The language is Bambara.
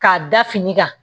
K'a da fini kan